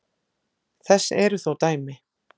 Þess eru þó dæmi.